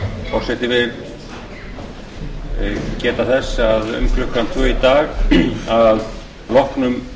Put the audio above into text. forseti vill geta þess að um klukkan tvö í dag að loknum